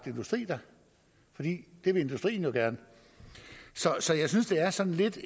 industri der for det vil industrien jo gerne så jeg synes det er sådan lidt